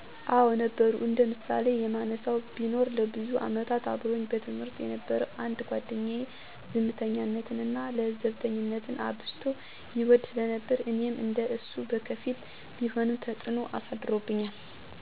አወ ነበሩ። እንደ ምሳሌ የማነሳው ቢኖር ለብዙ አመታት አብሮኝ በትምህርት የነበረ አንድ ጓደኛየ፤ ዝምተኝነት እና ለዘብተኝነትን አብዝቶ ይወድ ስለነበር እኔም እንደ እሱ በከፊልም ቢሆን ተጽዕኖ አሳድሮብኛል።